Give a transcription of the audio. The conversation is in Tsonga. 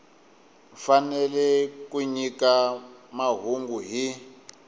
fanele ku nyika mahungu hi